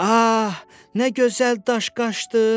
Ah, nə gözəl daşqaşdı.